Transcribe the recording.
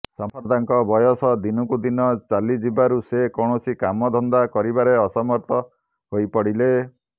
ସମ୍ପର୍ଦ୍ଧାଙ୍କ ବୟସ ଦିନକୁ ଦିନ ଚାଲିଯିବାରୁ ସେ କୈାଣସି କାମ ଧନ୍ଦା କରିବାରେ ଅସମର୍ଥ ହୋଇପଡିଲେ